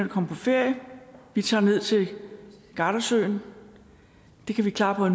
at komme på ferie vi tager ned til gardasøen det kan vi klare